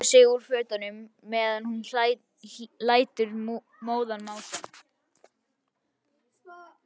Bylgja rífur sig úr fötunum meðan hún lætur móðan mása.